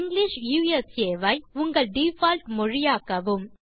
English ஐ உங்கள் default மொழியாக்கவும்